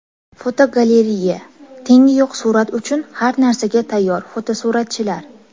Fotogalereya: Tengi yo‘q surat uchun har narsaga tayyor fotosuratchilar.